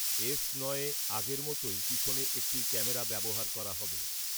S নয়ে আগের মতোই পেছনে একটি ক্যামেরা ব্যবহার করা হবে